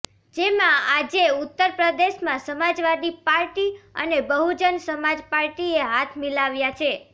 જેમાં આજે ઉત્તર પ્રદેશમાં સમાજવાદી પાર્ટી અને બહુજન સમાજ પાર્ટીએ હાથ મિલાવ્યા છે